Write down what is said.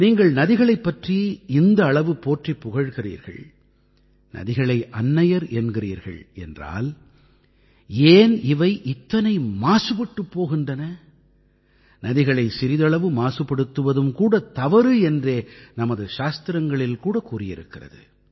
நீங்கள் நதிகளைப் பற்றி இந்த அளவு போற்றிப் புகழ்கிறீர்கள் நதிகளை அன்னையர் என்கிறீர்கள் என்றால் ஏன் இவை இத்தனை மாசுபட்டுப் போகின்றன நதிகளை சிறிதளவு மாசுபடுத்துவதும் கூட தவறு என்றே நமது சாத்திரங்களிலே கூட கூறியிருக்கிறது